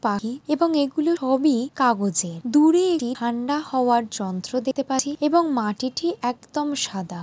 পাগি এবং এগুলো হবই কাগজের দূরে একটি ঠান্ডা হওয়ার যন্ত্র দেখতে পাছি এবং মাটিটি একদম সাদা।